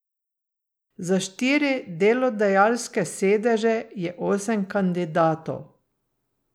Za štiri delodajalske sedeže je sedem kandidatov.